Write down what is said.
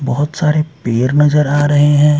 बहुत सारे पेर नजर आ रहे हैं।